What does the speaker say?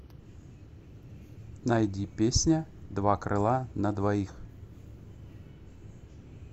найди песня два крыла на двоих